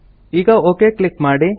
ಈಗ okay click ಮಾಡಿ